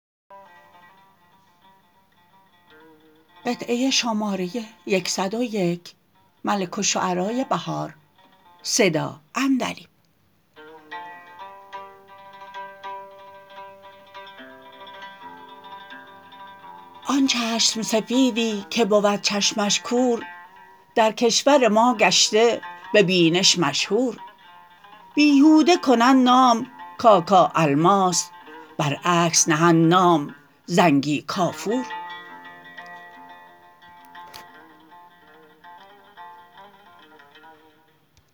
آن چشم سفیدی که بود چشمش کور درکشور ما گشته به بینش مشهور بیهوده کنند نام کاکا الماس برعکس نهند نام زنگی کافور